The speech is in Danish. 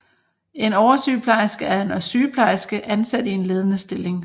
En oversygeplejerske er en sygeplejerske ansat i en ledende stilling